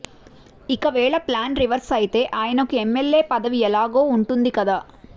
ఇక వేళ plan reverse అయితే ఆయనకు ఎమ్మెల్యే పదవి ఎలాగూ ఉంటుంది కదా